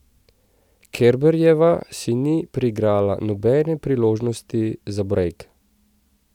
Kerberjeva si ni priigrala nobene priložnosti za brejk.